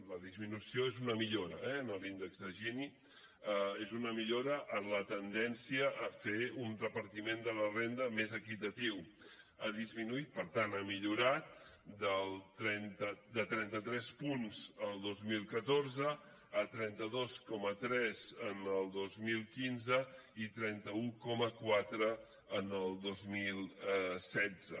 la disminució és una millora eh en l’índex de gini és una millora en la tendència a fer un repartiment de la renda més equitatiu ha disminuït per tant ha millorat de trenta tres punts el dos mil catorze a trenta dos coma tres en el dos mil quinze i trenta un coma quatre en el dos mil setze